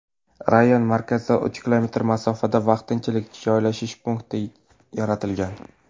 Rayon markazidan uch kilometr masofada vaqtinchalik joylashish punkti yaratilgan.